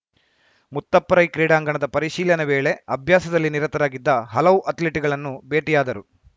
ಮುತ್ತಪ್ಪ ರೈ ಕ್ರೀಡಾಂಗಣದ ಪರಿಶೀಲನೆ ವೇಳೆ ಅಭ್ಯಾಸದಲ್ಲಿ ನಿರತರಾಗಿದ್ದ ಹಲವು ಅಥ್ಲೀಟ್‌ಗಳನ್ನು ಭೇಟಿಯಾದರು